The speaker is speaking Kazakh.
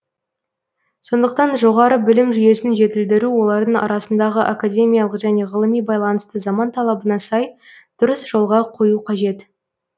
сондықтан жоғары білім жүйесін жетілдіру олардың арасындағы академиялық және ғылыми байланысты заман талабына сай дұрыс жолға қою қажет